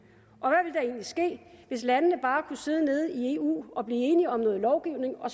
hvad ske hvis landene bare kunne sidde nede i eu og blive enige om noget lovgivning og